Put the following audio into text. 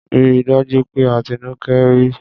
Rí dájú pé Atinúkẹ́ rí!